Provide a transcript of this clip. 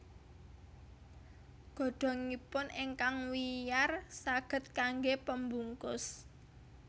Godhongipun ingkang wiyar saged kanggé pembungkus